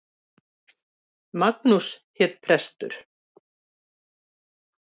Magnús hét prestur.